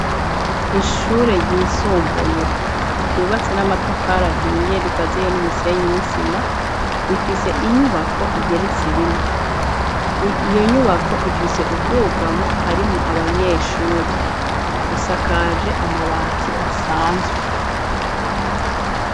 Ishure ryisumbuye ryubatse n'amatafarahiye rikaziye n'umusenyi n'isima rifise inyubako igerese rimwe, iyo nyubako ifise ubwugamo harimwo abanyeshuri dusakaje amabati asanzwe.